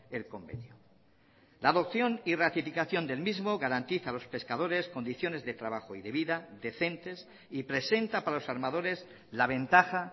el convenio la adopción y ratificación del mismo garantiza a los pescadores condiciones de trabajo y de vida decentes y presenta para los armadores la ventaja